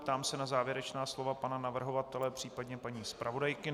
Ptám se na závěrečná slova pana navrhovatele, případně paní zpravodajky.